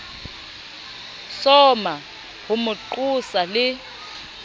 soma ho mo qosa le